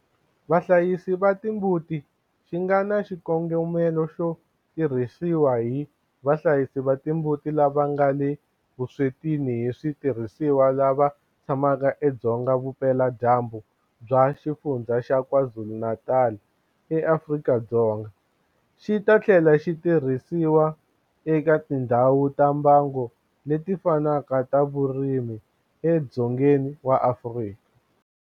Vahlayisi va timbuti xi nga na xikongomelo xo tirhisiwa hi vahlayisi va timbuti lava nga le vuswetini hi switirhisiwa lava tshamaka edzonga vupeladyambu bya Xifundzha xa KwaZulu-Natal eAfrika-Dzonga, xi ta tlhela xi tirhisiwa eka tindhawu ta mbango leti fanaka ta vurimi edzongeni wa Afrika.